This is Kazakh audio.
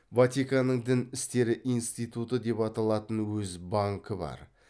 ватиканның дін істері институты деп аталатын өз банкі бар